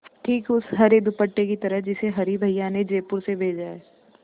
ठीक उस हरे दुपट्टे की तरह जिसे हरी भैया ने जयपुर से भेजा है